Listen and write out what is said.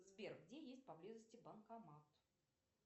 сбер где есть поблизости банкомат